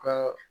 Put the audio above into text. Ka